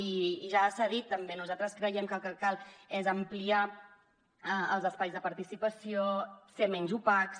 i ja s’ha dit també nosaltres creiem que el que cal és ampliar els espais de participació ser menys opacs